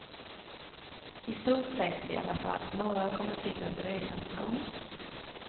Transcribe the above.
I stort sett i alla fall, några har kommit till under resans gång.